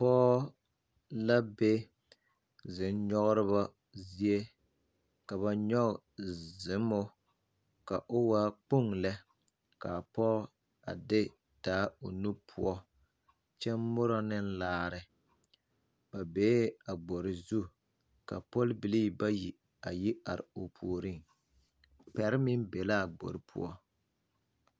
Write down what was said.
Pɔge la be zonnyɔgreba zie ka ba nyɔge zommo ka o waa kpoŋ lɛ ka a pɔge a de taa o nu poɔ kyɛ morɔ ne laare ba bee a gbori zu ka pɔlbilii bayi a yi are o puoriŋ pɛre meŋ be l,a gbori poɔ.